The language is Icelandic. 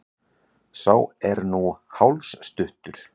Sá er nú hálsstuttur!